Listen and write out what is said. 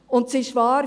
Und es ist wahr: